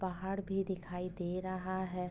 पहाड़ भी दिखाई दे रहा है।